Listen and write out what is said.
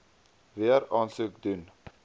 weer aansoek doen